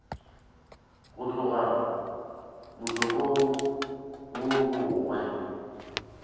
go tloga molokong wo mongwe